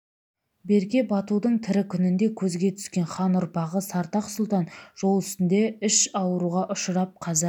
берке батудың тірі күнінде көзге түскен хан ұрпағы сартақ сұлтан жол үстінде іш ауруға ұшырап қаза